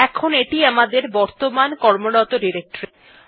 এখন এইটি আমাদের বর্তমান কর্মরত ডিরেক্টরী